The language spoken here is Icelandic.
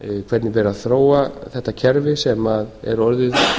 hvernig ber að þróa þetta kerfi sem er orðið